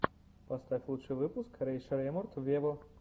поставь лучший выпуск рэй шреммурд вево